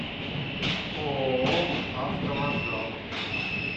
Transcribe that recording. ооо автовокзал